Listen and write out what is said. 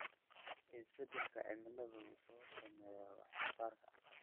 Isbeddelka cimiladu wuxuu saameeyaa wax soo saarka.